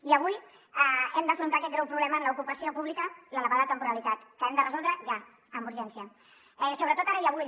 i avui hem d’afrontar aquest greu problema en l’ocupació pública l’elevada temporalitat que hem de resoldre ja amb urgència sobretot ara i avui